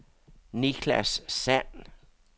Nicklas Sand